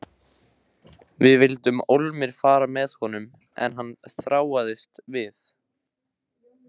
Við vildum ólmir fara með honum en hann þráaðist við.